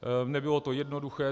Nebylo to jednoduché.